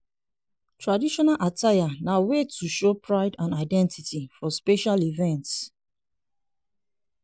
traditional attire na way to show pride and identity for special events.